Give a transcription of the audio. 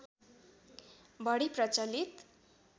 बढी प्रचलित